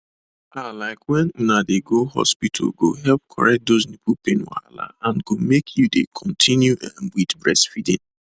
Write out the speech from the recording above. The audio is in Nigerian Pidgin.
ah like when una dey go hospital go help correct those nipple pain wahala and go make you dey continue um with breastfeeding